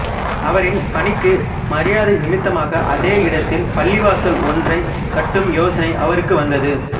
அவரின் பணிக்கு மரியாதை நிமித்தமாக அதே இடத்தில் பள்ளிவாசல் ஒன்றை கட்டும் யோசனை அவருக்கு வந்தது